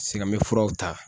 Sika mɛ furaw ta.